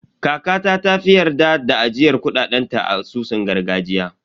Kakata ta fi yarda da ajiyar kuɗaɗen ta a asusun gargajiya.